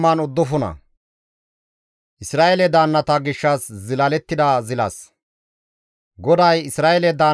GODAY, «Isra7eele daannata gishshas zilas zilalana mala taas yootides;